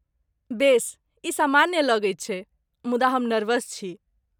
बेस, ई सामान्य लगैत छै, मुदा हम नर्वस छी।